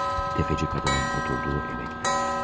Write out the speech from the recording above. Rodyon, təfəçi qadının oturduğu evə gedir.